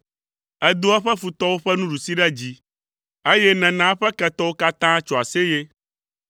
Èdo eƒe futɔwo ƒe nuɖusi ɖe dzi, eye nèna eƒe ketɔwo katã tso aseye.